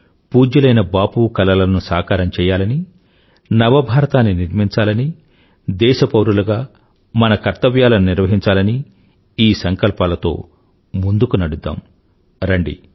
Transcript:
పూజ్యులైన బాపూ కలలను సాకారం చేయాలని నవభారతాన్ని నిర్మించాలని దేశపౌరులుగా మన కర్తవ్యాలను నిర్వహించాలని ఈ సంకల్పాలతో ముందుకు నడుద్దాం రండి